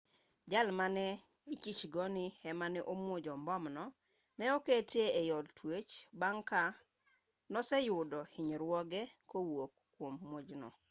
jal mane ichich go ni ema ne omuojo mbomno ne oketi e od twech bang' ka noseyudo hinyruoge kowuok kwom muojno